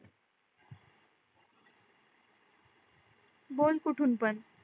बोल कुठून पण